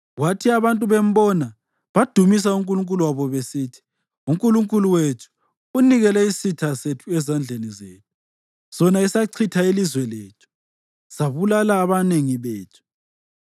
Kwathi abantu bembona, badumisa unkulunkulu wabo besithi, “Unkulunkulu wethu unikele isitha sethu ezandleni zethu, sona esachitha ilizwe lethu sabulala abanengi bethu.”